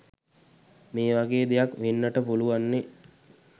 මේ වගේ දෙයක් වෙන්නට පුළුවන්නේ.